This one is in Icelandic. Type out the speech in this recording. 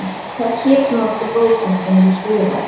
Hvað hét nú aftur bókin sem þú skrifaðir?